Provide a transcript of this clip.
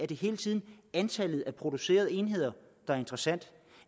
det hele tiden er antallet af producerede enheder der er interessant